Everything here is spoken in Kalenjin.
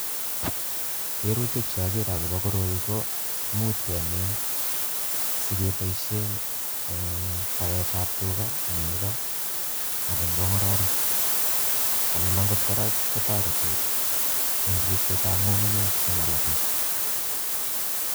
Keerutik cheokere okobo korou ko imuch kemin sikeboishien en baetab tugak ,nekoo anan ko ngororek. Anan okot kora kotoretii en loksetab ngungunyek simalaa beek